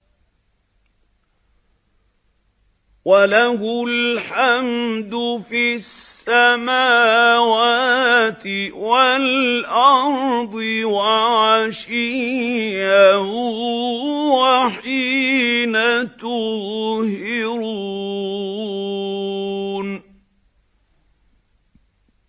وَلَهُ الْحَمْدُ فِي السَّمَاوَاتِ وَالْأَرْضِ وَعَشِيًّا وَحِينَ تُظْهِرُونَ